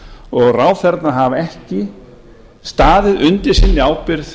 og ráðherrarnir hafa ekki staðið undir sinni ábyrgð